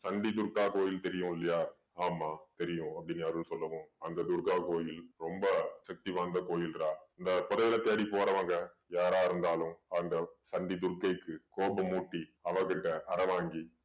சண்டி துர்கா கோயில் தெரியும் இல்லயா? ஆமாம் தெரியும் அப்படீன்னு அருள் சொன்னதும் அந்த துர்கா கோயில் ரொம்ப சக்தி வாய்ந்த கோயில்ரா. இந்த புதையல தேடி போறவங்க யாரா இருந்தாலும் அந்த சண்டி துர்கைக்கு கோபமூட்டி அவகிட்ட அறை வாங்கி